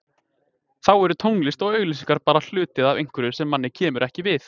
Þá eru tónlist og auglýsingar bara hluti af einhverju sem manni kemur ekki við.